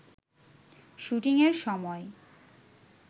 শুটিংয়ের সময়